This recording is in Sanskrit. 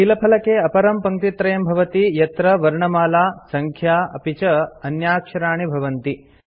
कीलफलके अपरं पङ्क्तित्रयं भवति यत्र वर्णमाला सङ्ख्या अपि च अन्याक्षराणि भवन्ति